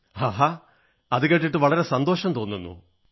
ആഹാ അതുകേട്ടിട്ട് വളരെ സന്തോഷം തോന്നുന്നു